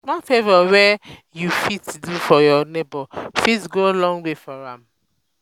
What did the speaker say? small favor um wey um yu um yu fit do for yur um neibor fit go a long way for am